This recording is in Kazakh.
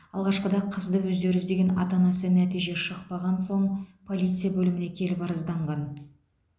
алғашқыда қызды өздері іздеген ата анасы нәтиже шықпаған соң полиция бөліміне келіп арызданған